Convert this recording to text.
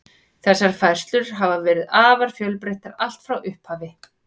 Þessar færslur hafa verið afar fjölbreyttar allt frá upphafi.